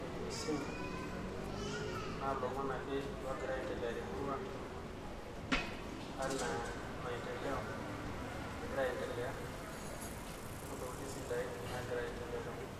eimu esimu naa ilomon ake loogira aendelea te murrua anaa maendeleo nagira aendelea ,ontokitin sidain nagira aendelea tenkop.